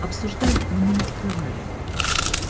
обсуждаем но мы не скрываем это от него